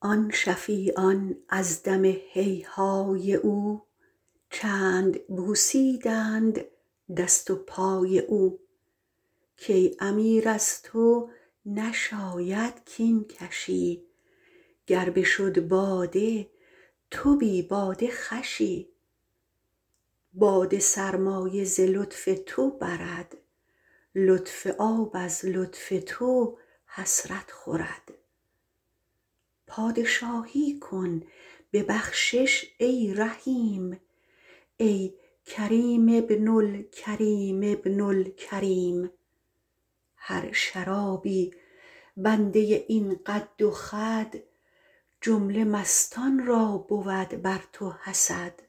آن شفیعان از دم هیهای او چند بوسیدند دست و پای او کای امیر از تو نشاید کین کشی گر بشد باده تو بی باده خوشی باده سرمایه ز لطف تو برد لطف آب از لطف تو حسرت خورد پادشاهی کن ببخشش ای رحیم ای کریم ابن الکریم ابن الکریم هر شرابی بنده این قد و خد جمله مستان را بود بر تو حسد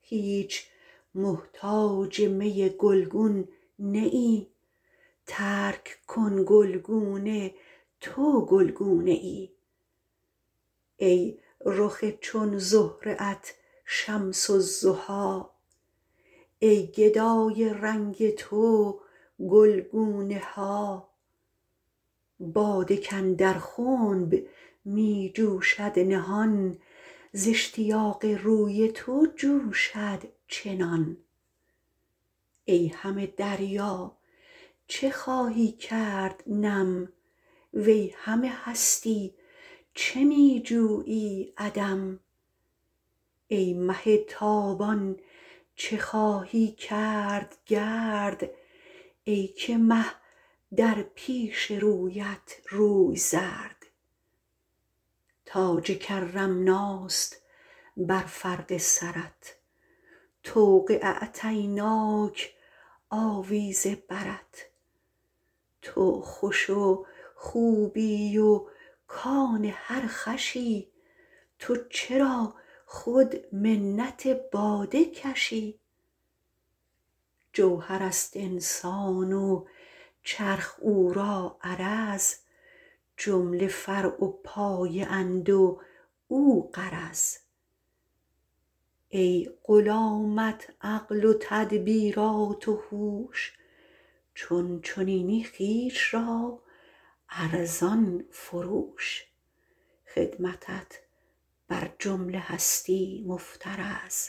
هیچ محتاج می گلگون نه ای ترک کن گلگونه تو گلگونه ای ای رخ چون زهره ات شمس الضحی ای گدای رنگ تو گلگونه ها باده کاندر خنب می جوشد نهان ز اشتیاق روی تو جوشد چنان ای همه دریا چه خواهی کرد نم وی همه هستی چه می جویی عدم ای مه تابان چه خواهی کرد گرد ای که مه در پیش رویت روی زرد تاج کرمناست بر فرق سرت طوق اعطیناک آویز برت تو خوش و خوبی و کان هر خوشی تو چرا خود منت باده کشی جوهرست انسان و چرخ او را عرض جمله فرع و پایه اند و او غرض ای غلامت عقل و تدبیرات و هوش چون چنینی خویش را ارزان فروش خدمتت بر جمله هستی مفترض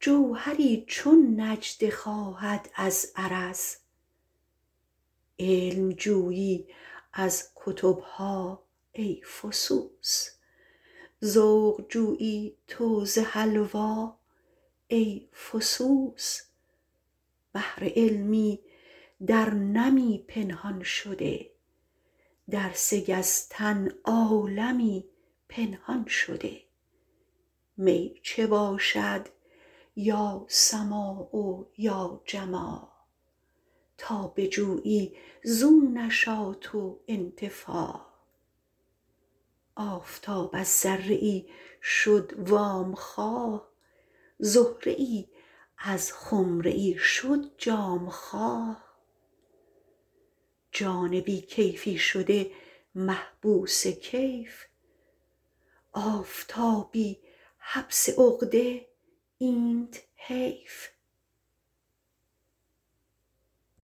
جوهری چون نجده خواهد از عرض علم جویی از کتبها ای فسوس ذوق جویی تو ز حلوا ای فسوس بحر علمی در نمی پنهان شده در سه گز تن عالمی پنهان شده می چه باشد یا سماع و یا جماع تا بجویی زو نشاط و انتفاع آفتاب از ذره ای شد وام خواه زهره ای از خمره ای شد جام خواه جان بی کیفی شده محبوس کیف آفتابی حبس عقده اینت حیف